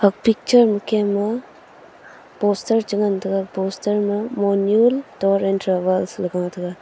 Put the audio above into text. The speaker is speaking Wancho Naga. a picture ma kem a poster chenga tega poster ma Monyul tour and travels ley ga taga.